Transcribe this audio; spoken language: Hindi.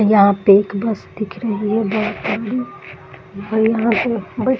यहाँ पे एक बस दिख रही है बहोत बड़ी और यहाँ पे ब